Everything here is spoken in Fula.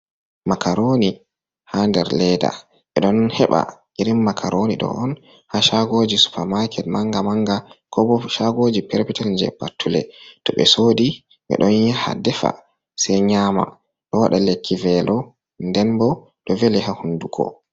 Makaroni ha nder leda, ɓeɗon heɓa irin makaroni ɗo on ha shagoji suparmaket manga manga, kobo shagoji perpetel je pattule, to ɓe sodi ɓeɗon yaha defa sei nyama. ɗo waɗa lekki velo nden bo ɗo veli ha hunduko.